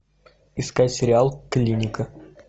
искать сериал клиника